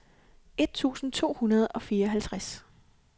et tusind to hundrede og fireoghalvtreds